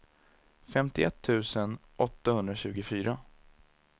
femtioett tusen åttahundratjugofyra